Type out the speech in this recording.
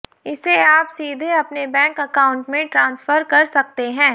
इसे आप सीधे अपने बैंक अकाउंट में ट्रांसफर कर सकते हैं